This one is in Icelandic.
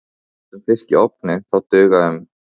Ef við eldum fisk í ofni þá duga um